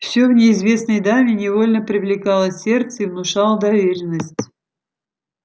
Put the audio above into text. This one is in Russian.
всё в неизвестной даме невольно привлекало сердце и внушало доверенность